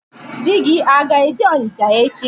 Di gi aga-eje Ọnịcha echi?